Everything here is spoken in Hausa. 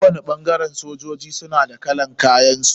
Kowani ɓangaren sojoji suna da kalan kayan su.